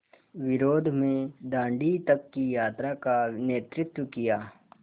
विरोध में दाँडी तक की यात्रा का नेतृत्व किया